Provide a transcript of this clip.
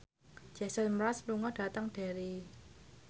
Jason Mraz lunga dhateng Derry